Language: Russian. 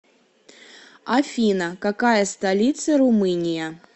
афина какая столица румыния